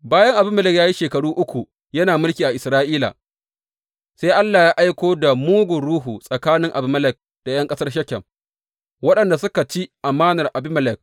Bayan Abimelek ya yi shekara uku yana mulki a Isra’ila, sai Allah ya aiko da mugun ruhu tsakanin Abimelek da ’yan ƙasar Shekem, waɗanda suka ci amanar Abimelek.